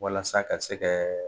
Walasa ka se kɛ.